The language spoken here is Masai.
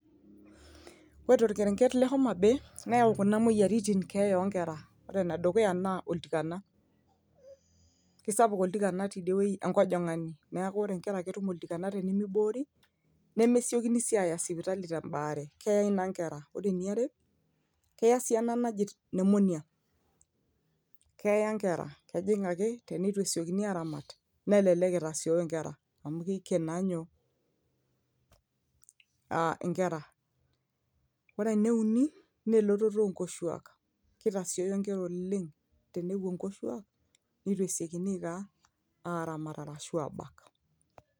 ore torkerenget le homa bay neyau kuna moyioaritin keeya onkera ore enedukuya naa oltikana kisapuk oltikana tidie wueji enkojong'ani neeku ore inkera ketum oltikana tenimiboori nemesiokini sii aya sipitali tembaare keyai naa inkera ore eniare keya si ena naji pneumonia keya inkera kejing ake tenetu esiokini aramat nelelek itasioyo inkera amu keiken naa nyoo uh inkera ore ene uni naa elototo onkoshuak kitasioyo inkera oleng tenepuo nkoshuak netu esiokin aiko aa aramat arashu abak.